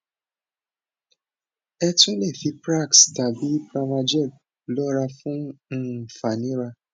ẹ tún le fi prax tàbí pramagel lọrà fún um fàníra